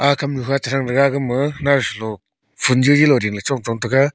ag kam nyu kha che thang tega gama nausa sa lung phun jaji lung ding la chong chong tega.